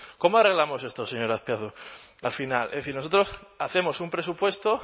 cómo arreglamos esto señor azpiazu al final es decir nosotros hacemos un presupuesto